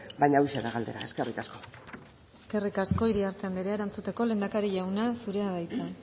baina hauxe da galdera eskerrik asko eskerrik asko iriarte andrea erantzuteko lehendakari jauna zurea da hitza